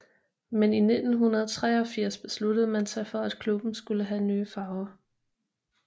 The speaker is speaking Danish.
Men i 1983 besluttede man sig for at klubben skulle have nye farver